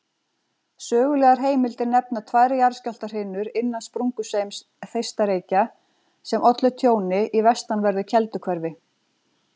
Sögulegar heimildir nefna tvær jarðskjálftahrinur innan sprungusveims Þeistareykja sem ollu tjóni í vestanverðu Kelduhverfi.